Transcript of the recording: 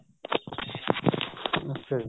ਅੱਛਿਆ ਜੀ